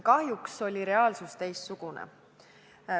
Kahjuks on reaalsus olnud teistsugune.